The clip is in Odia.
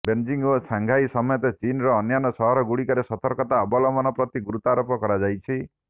ବେଜିଂ ଓ ସାଙ୍ଘାଇ ସମେତ ଚୀନର ଅନ୍ୟାନ୍ୟ ସହରଗୁଡ଼ିକରେ ସତର୍କତା ଅବଲମ୍ବନ ପ୍ରତି ଗୁରୁତ୍ୱାରୋପ କରାଯାଇଛି